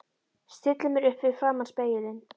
Stilli mér upp fyrir framan spegilinn.